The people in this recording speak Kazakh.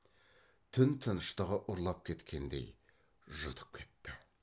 түн тыныштығы ұрлап кеткендей жұтып кетті